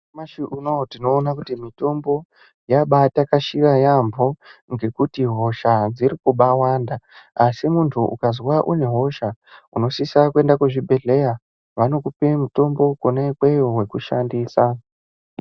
Nyamashi unouyu tinoona kuti mitombo yabaatakashira yaampho ,ngekuti hosha dzirikubaawanda .Asi munhu ukazwa une hosha ,unosisa kuenda kuzvibhedhlera ,vanokupe mitombo kona ikweyo yekushandisa.